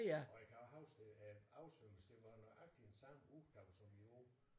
Og jeg kan huske at oversvømmelsen det var den nøjagtigt samme ugedag som i år